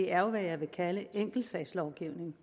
er jo hvad jeg vil kalde enkeltsagslovgivning